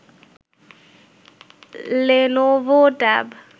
Lenovo tab